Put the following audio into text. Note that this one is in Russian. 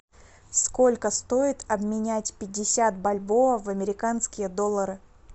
сколько стоит обменять пятьдесят бальбоа в американские доллары